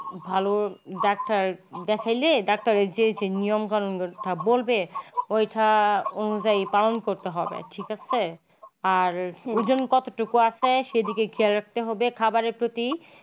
ভাল ডাক্তার দেখাইলে ডাক্তারের যে নিয়ম কানুন কথা বলবে পালন করতে হবে ঠিক আছে আর ওজন কতটুকু আছে সেদিকে খেয়াল রাখতে হবে খাবারের প্রতি।